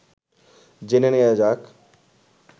জেনে নেয়া যাক